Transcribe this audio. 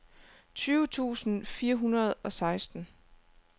tyve tusind fire hundrede og seksten